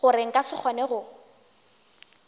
gore nka se kgone go